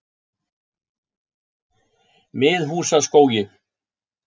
Miðhúsaskógi